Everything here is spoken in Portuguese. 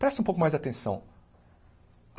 Preste um pouco mais de atenção.